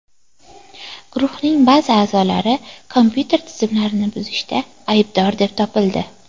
Guruhning ba’zi a’zolari kompyuter tizimlarini buzishda aybdor deb topildi.